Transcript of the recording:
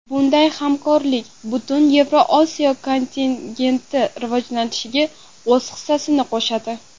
Bunday hamkorlik butun Yevrosiyo kontingenti rivojlanishiga o‘z hissasini qo‘shadi.